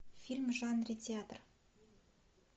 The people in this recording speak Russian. фильм в жанре театр